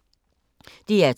DR2